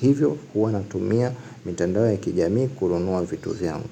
Hivyo huwa natumia mtandao ya kijami kununua vitu vyangu.